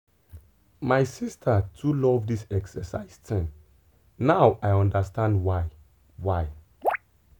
my sister too love this exercise thing now i understand why. why.